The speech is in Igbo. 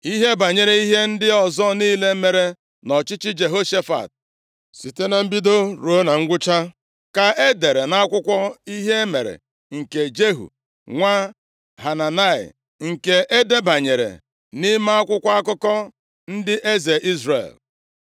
Ihe banyere ihe ndị ọzọ niile mere nʼọchịchị Jehoshafat, site na mbido ruo na ngwụcha, ka e dere nʼakwụkwọ ihe mere nke Jehu nwa Hanani, nke e debanyere nʼime akwụkwọ akụkọ ndị eze Izrel.